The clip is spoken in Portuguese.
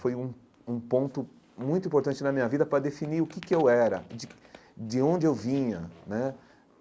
Foi um um ponto muito importante na minha vida para definir o que que eu era, de de onde eu vinha né.